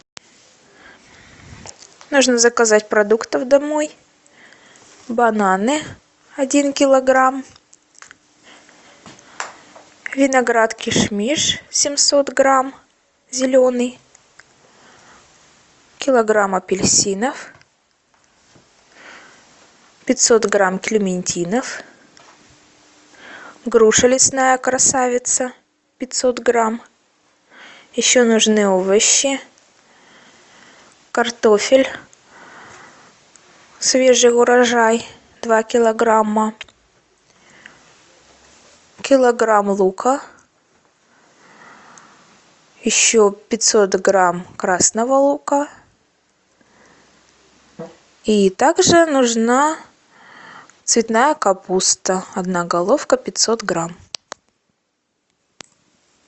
нужно заказать продуктов домой бананы один килограмм виноград кишмиш семьсот грамм зеленый килограмм апельсинов пятьсот грамм клементинов груша лесная красавица пятьсот грамм еще нужны овощи картофель свежий урожай два килограмма килограмм лука еще пятьсот грамм красного лука и также нужна цветная капуста одна головка пятьсот грамм